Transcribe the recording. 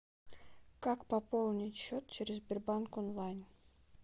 как пополнить счет через сбербанк онлайн